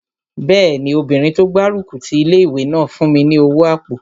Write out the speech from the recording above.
Bẹ́ẹ̀ni, obìnrin tó gbárùkù ti ilé-ìwé náà fún mi ní owó àpò